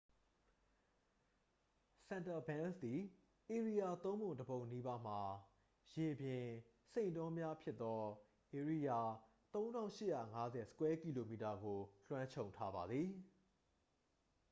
စန်တာဘန်းစ် သည် ဧရိယာသုံးပုံ တစ် ပုံနီးပါးမှာ ရေပြင်/စိမ့်တောများဖြစ်သော ဧရိယာ ၃၈၅၀ km² ကို လွှမ်းခြုံထားပါသည်။